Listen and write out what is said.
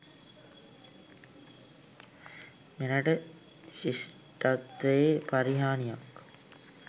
මෙරට ශිෂ්ටත්වයේ පරිහානියක්